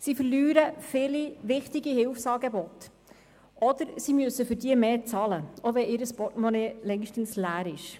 Sie verlieren viele wichtige Hilfsangebote oder müssen für diese mehr bezahlen, auch wenn ihr Portemonnaie längst leer ist.